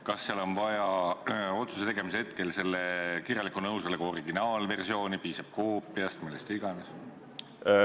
Kas otsuse tegemise hetkel on vaja kirjaliku nõusoleku originaalversiooni või piisab koopiast või millest iganes?